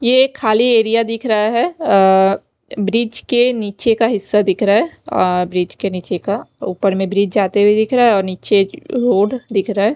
ये खाली एरिया दिख रहा है अ ब्रिज के नीचे का हिस्सा दिख रहा है आ ब्रिज के नीचे का ऊपर में ब्रिज जाते हुए दिख रहा है और नीचे रोड दिख रहा है।